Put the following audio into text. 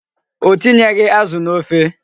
O tinyeghị azụ n'ofe.